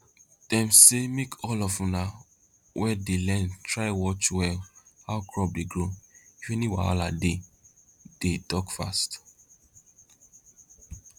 dem say make all of una we dey learn try watch well how crop dey grow if any wahala dey dey talk fast